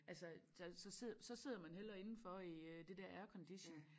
Altså der så sidder så sidder man hellere indenfor i øh det dér aircondition